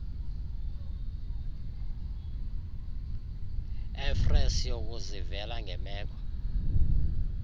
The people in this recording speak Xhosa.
efrere siyokuzivela ngemeko